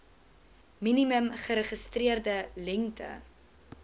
minimum geregistreerde lengte